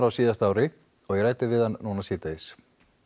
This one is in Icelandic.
á síðasta ári og ég ræddi við hann núna síðdegis